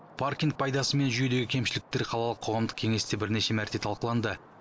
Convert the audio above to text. паркинг пайдасы мен жүйедегі кемшіліктер қалалық қоғамдық кеңесте бірнеше мәрте талқыланды